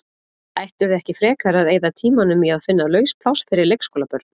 Ættirðu ekki frekar að eyða tímanum í að finna laus pláss fyrir leikskólabörn?